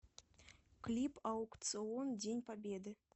клип аукцыон день победы